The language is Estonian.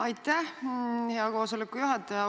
Aitäh, hea koosoleku juhataja!